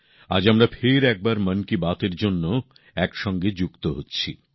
আজ আমরা ফের একবার মন কি বাতএর জন্য একসঙ্গে মিলিত হচ্ছি